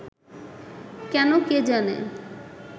কেন কে জানে